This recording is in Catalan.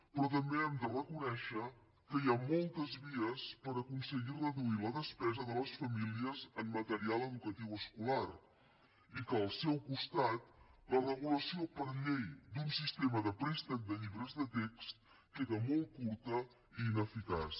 però també hem de reconèixer que hi ha moltes vies per aconseguir reduir la despesa de les famílies en material educatiu escolar i que al seu costat la regulació per llei d’un sistema de préstec de llibres de text queda molt curta i ineficaç